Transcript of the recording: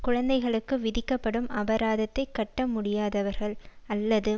குழந்தைகளுக்கு விதிக்கப்படும் அபராதத்தை கட்ட முடியாதவர்கள் அல்லது